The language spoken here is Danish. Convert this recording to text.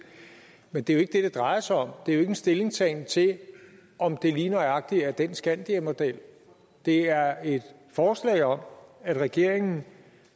men det er jo ikke det det drejer sig om det er jo ikke en stillingtagen til om det lige nøjagtig er den skandiamodel det er et forslag om at regeringen